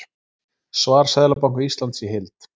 Svar Seðlabanka Íslands í heild